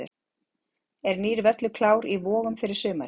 Er nýr völlur klár í Vogum fyrir sumarið?